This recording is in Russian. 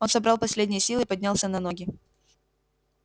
он собрал последние силы и поднялся на ноги